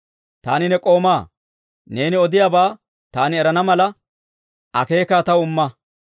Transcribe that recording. Taani ne k'oomaa; neeni odiyaabaa taani erana mala, akeekaa taw imma.